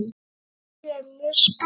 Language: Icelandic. Já, ég er mjög spennt.